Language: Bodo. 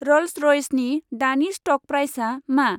रल्स रय्सनि दानि स्ट'क प्राइसआ मा?